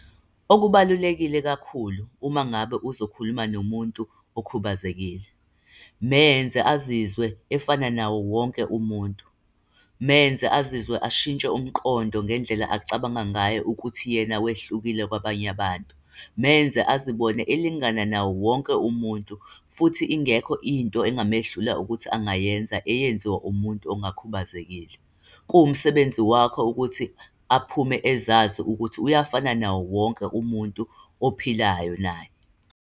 Okubalulekile kakhulu uma ngabe uzokhuluma nomuntu okhubazekile, menze azizwe efana nawo wonke umuntu. Menze azizwe ashintshe umqondo ngendlela acabanga ngayo ukuthi yena wehlukile kwabanye abantu. Menze azibone elingana nawo wonke umuntu, futhi ingekho into engamehlula ukuthi angayenza eyenziwa umuntu ongakhubazekile. Kuwumsebenzi wakho ukuthi aphume ezazi ukuthi uyafana nawo wonke umuntu ophilayo naye.